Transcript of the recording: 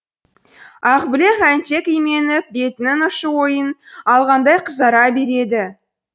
ақбілек әнтек именіп бетінің ұшы ойын алғандай қызара береді